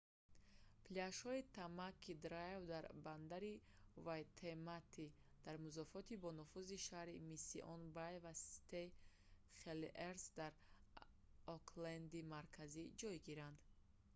пляжҳои tamaki drive дар бандари вайтемата waitemata дар музофоти бонуфузи шаҳри mission bay ва st heliers дар окленди марказӣ ҷойгиранд